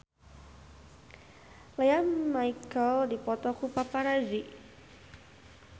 Lea Michele dipoto ku paparazi